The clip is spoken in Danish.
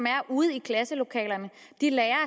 er ude i klasselokalerne de lærere